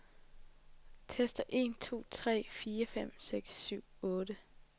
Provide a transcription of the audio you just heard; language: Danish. Tester en to tre fire fem seks syv otte.